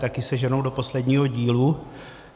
Taky se ženou do posledního dílu.